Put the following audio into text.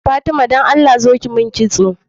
Fatima dan allah zo ki mun kitso